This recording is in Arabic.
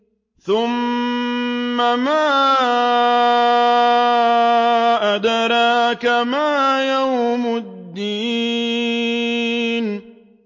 ثُمَّ مَا أَدْرَاكَ مَا يَوْمُ الدِّينِ